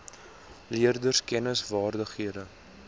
leerders kennis vaardighede